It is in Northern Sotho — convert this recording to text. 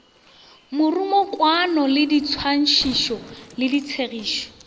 morumokwano di swantšho le tshegišo